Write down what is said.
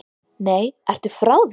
Nei, ertu frá þér!